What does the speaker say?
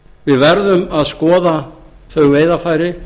við verðum að skoða þau veiðarfæri